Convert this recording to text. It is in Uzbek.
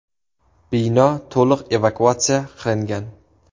Bino to‘liq evakuatsiya qilingan.